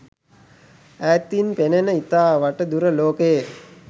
ඈතින් පෙනෙන ඉතා වට දුර ලෝකයේ